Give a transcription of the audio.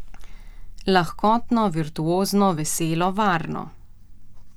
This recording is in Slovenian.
Lahkotno, virtuozno, veselo, varno.